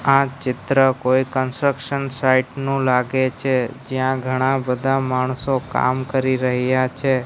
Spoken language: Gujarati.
આ ચિત્ર કોઈ કન્સ્ટ્રકશન સાઈટ નું લાગે છે જ્યાં ઘણા બધા માણસો કામ કરી રહયા છે.